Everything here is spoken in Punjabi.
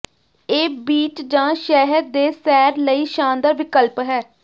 ਇਹ ਬੀਚ ਜਾਂ ਸ਼ਹਿਰ ਦੇ ਸੈਰ ਲਈ ਸ਼ਾਨਦਾਰ ਵਿਕਲਪ ਹੈ